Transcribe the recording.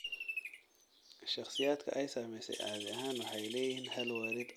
Shakhsiyaadka ay saamaysay caadi ahaan waxay leeyihiin hal waalid oo qaba cudurka.